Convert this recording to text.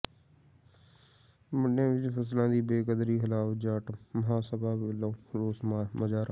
ਮੰਡੀਆਂ ਵਿੱਚ ਫ਼ਸਲਾਂ ਦੀ ਬੇਕਦਰੀ ਖ਼ਿਲਾਫ਼ ਜਾਟ ਮਹਾਂਸਭਾ ਵੱਲੋਂ ਰੋਸ ਮੁਜ਼ਾਹਰਾ